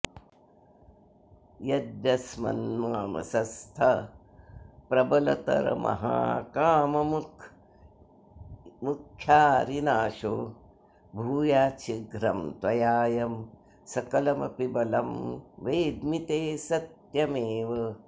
यद्यस्मन्मानसस्थप्रबलतरमहाकाममुख्यारिनाशो भूयाच्छीघ्रं त्वयायं सकलमपि बलं वेद्मि ते सत्यमेव